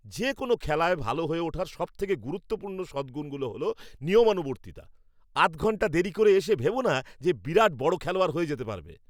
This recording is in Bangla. যে কোনও খেলায় ভালো হয়ে ওঠার সবথেকে গুরুত্বপূর্ণ সদগুণ হলো নিয়মানুবর্তিতা। আধঘন্টা দেরি করে এসে ভেবো না যে বিরাট বড় খেলোয়াড় হয়ে যেতে পারবে।